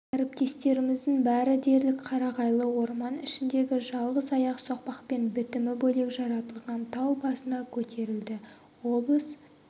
әріптестеріміздің бәрі дерлік қарағайлы орман ішіндегі жалғыз аяқ соқпақпен бітімі бөлек жаратылған тау басына көтерілді облыс